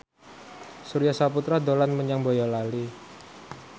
Surya Saputra dolan menyang Boyolali